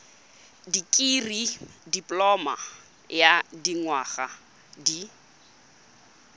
dikirii dipoloma ya dinyaga di